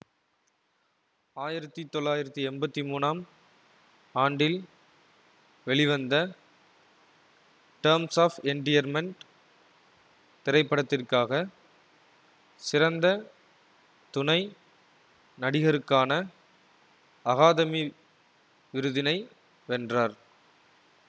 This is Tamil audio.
ஆயிரத்தி தொள்ளாயிரத்தி எம்பத்தி மூனாம் ஆண்டில் வெளிவந்த டெர்ம்ஸ் ஆஃப் என்டியர்மென்ட் திரைப்படத்திற்காக சிறந்த துணை நடிகருக்கான அகாதமி விருதினை வென்றார்